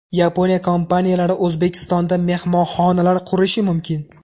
Yaponiya kompaniyalari O‘zbekistonda mehmonxonalar qurishi mumkin.